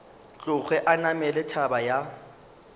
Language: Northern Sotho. tloge a namela thaba ya